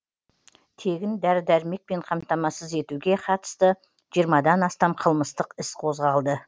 тегін дәрі дәрмекпен қамтамасыз етуге қатысты жиырмадан астам қылмыстық іс қозғалды